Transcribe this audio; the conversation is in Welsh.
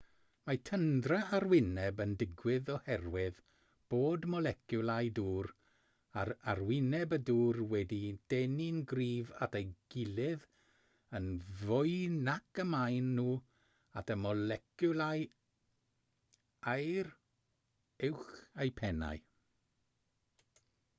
mae tyndra arwyneb yn digwydd oherwydd bod moleciwlau dŵr ar arwyneb y dŵr wedi'u denu'n gryf at ei gilydd yn fwy nac y maen nhw at y moleciwlau aer uwch eu pennau